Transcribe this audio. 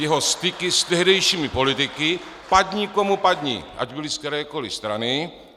Své styky s tehdejšími politiky, padni komu padni, ať byli z kterékoliv strany.